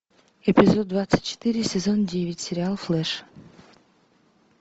эпизод двадцать четыре сезон девять сериал флеш